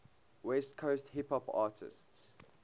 west coast hip hop artists